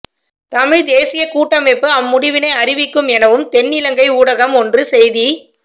தமிழ்த் தேசியக் கூட்டமைப்பு அம் முடிவினை அறிவிக்கும் எனவும் தென்னிலங்கை ஊடகம் ஒன்று செய்தி